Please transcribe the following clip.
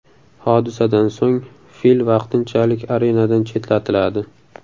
Hodisadan so‘ng fil vaqtinchalik arenadan chetlatiladi.